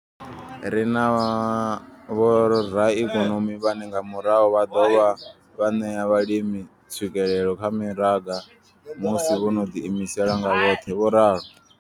Ri na vho raikonomi vhane nga murahu vha ḓo dovha vha ṋea vhalimi tswikelelo kha mimaraga musi vho no ḓiimisa nga vhoṱhe. vho ralo.